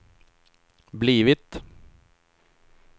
blivit